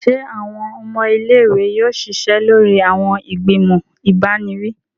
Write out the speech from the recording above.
Se awọn ọmọ ilé-ìwé yóò ṣiṣẹ lórí awọn igbimọ ibaniwi?